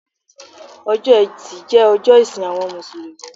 Ọjọ́ etí jẹ́ ọjọ́ ìsìn àwọn Mùsùlùmí